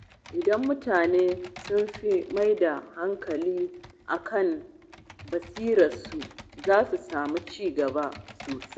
Idan mutane sun fi mai da hankali kan basirarsu, za su samu ci gaba sosai.